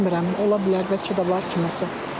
Bilməyə, ola bilər, bəlkə də var kiməsə.